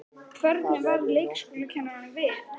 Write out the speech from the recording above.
Hvernig varð leikskólakennurunum við?